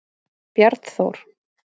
Bjarnþór